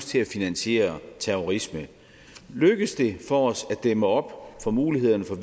til at finansiere terrorisme lykkes det for os at dæmme op for mulighederne for